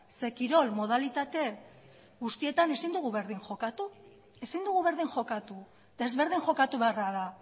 zeren eta kirol modalitate guztietan ezin dugu berdin jokatu desberdin jokatu